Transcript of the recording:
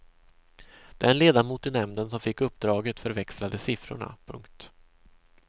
Den ledamot i nämnden som fick uppdraget förväxlade siffrorna. punkt